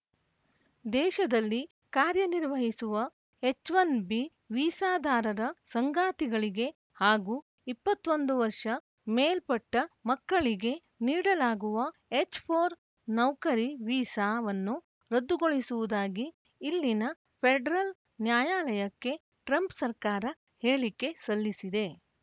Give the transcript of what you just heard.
ದೇಶದಲ್ಲಿ ಕಾರ್ಯನಿರ್ವಹಿಸುವ H one B ವೀಸಾದಾರರ ಸಂಗಾತಿಗಳಿಗೆ ಹಾಗೂ ಇಪ್ಪತ್ತ್ ಒಂದು ವರ್ಷ ಮೇಲ್ಪಟ್ಟಮಕ್ಕಳಿಗೆ ನೀಡಲಾಗುವ ಎಚ್‌ ಫೋರ್ ನೌಕರಿ ವೀಸಾವನ್ನು ರದ್ದುಗೊಳಿಸುವುದಾಗಿ ಇಲ್ಲಿನ ಫೆಡರಲ್‌ ನ್ಯಾಯಾಲಯಕ್ಕೆ ಟ್ರಂಪ್‌ ಸರ್ಕಾರ ಹೇಳಿಕೆ ಸಲ್ಲಿಸಿದೆ